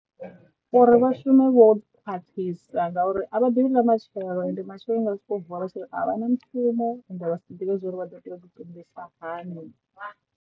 Uri vha shume vho khwaṱhisa ngauri a vha ḓivhi ḽa matshelo ende matshelo vha nga soko vuwa vha tshiri a vha na mushumo vha si ḓivhe zwori vha ḓoto tshilisa hani.